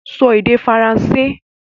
Sọ èdè Faransé!